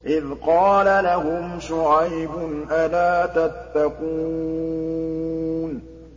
إِذْ قَالَ لَهُمْ شُعَيْبٌ أَلَا تَتَّقُونَ